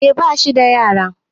eh bashi da yara